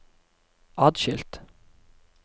atskilt